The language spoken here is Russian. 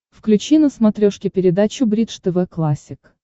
включи на смотрешке передачу бридж тв классик